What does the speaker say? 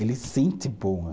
Ele sente